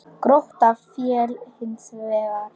Grótta féll hins vegar.